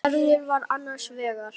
Gerður var annars vegar.